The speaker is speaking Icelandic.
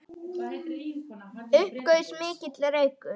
Upp gaus mikill reykur.